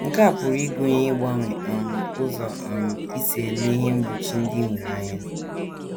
Nke a pụrụ ịgụnye ịgbanwe um ụzọ um i si ele ihe mgbochi ndị i nwere anya.